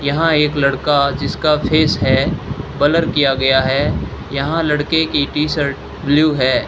यहां एक लड़का जिसका फेस है बलर किया गया है यहां लड़के की टी शर्ट ब्लू है।